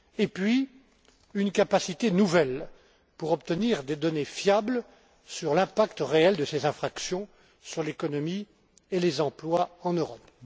en outre, il apportera une capacité nouvelle pour obtenir des données fiables sur l'impact réel de ces infractions sur l'économie et les emplois en Europe.